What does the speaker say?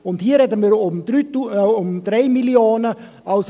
Und hier sprechen wir von 3 Mio. Franken.